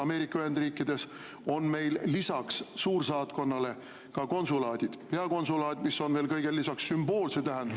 Ameerika Ühendriikides oleks meil lisaks suursaatkonnale konsulaadid, peakonsulaat, mis on kõigele lisaks veel sümboolse tähendusega …